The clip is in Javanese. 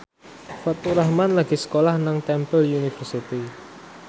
Faturrahman lagi sekolah nang Temple University